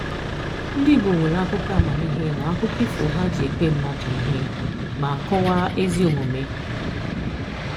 Ndị Igbo nwere akụkọ amamihe na akụkọ ifo ha na-eji ekwe mmadụ ihe ma kọwaa ezi omume.